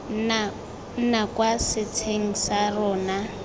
nna kwa setsheng sa rona